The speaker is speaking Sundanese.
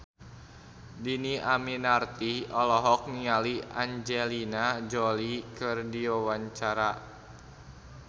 Dhini Aminarti olohok ningali Angelina Jolie keur diwawancara